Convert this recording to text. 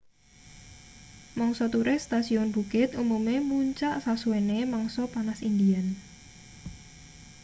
mangsa turis stasiun bukit umume muncak sasuwene mangsa panas indian